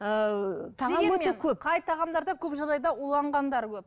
ыыы дегенмен қай тағамдарда көп жағдайда уланғандар көп